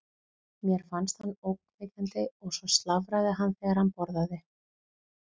Mér fannst hann ógnvekjandi og svo slafraði hann þegar hann borðaði.